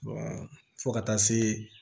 fo ka taa se